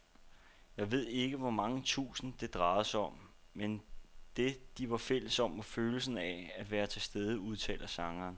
Jeg ved ikke hvor mange tusind, det drejede sig om, men det, de var fælles om, var følelsen af at være tilstede, udtaler sangeren.